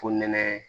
Fo nɛnɛ